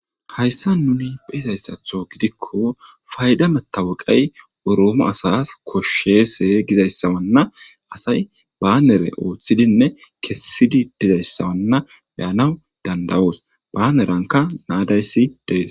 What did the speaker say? hayssa nuni be izayssatho gidikko fayda metawuqay oroome asas koshshese gizayssawanna asay baanere ooththidinne kessidi dizayssawanna beyanaw dandawoos baaneranka naadayssi dees